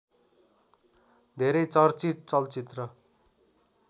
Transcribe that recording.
धेरै चर्चित चलचित्र